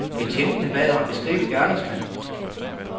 Betjentene bad ham beskrive gerningsmanden.